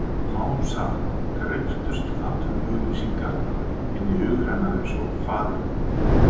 Smám saman greyptust atvinnuauglýsingarnar inn í hug hennar einsog Faðirvorið.